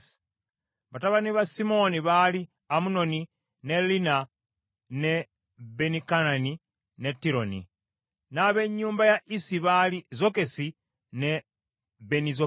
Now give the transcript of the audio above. Batabani ba Simoni baali Amunoni, ne Linna, ne Benikanani, ne Tironi. N’ab’ennyumba ya Isi baali Zokesi ne Benizokesi.